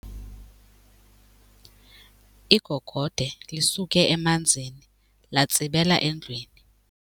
Igogode lisuke emanzini latsibela endlwini.